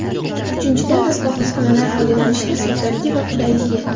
Uchinchidan , asbob-uskunalar foydalanishda soddaligi va qulayligi.